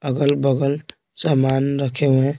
अगल-बगल सामान रखे हुए हैं।